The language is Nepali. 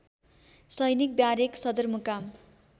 सैनिक ब्यारेक सदरमुकाम